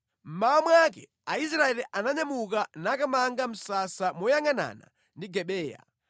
Mmawa mwake Israeli ananyamuka nakamanga msasa moyangʼanana ndi Gibeya.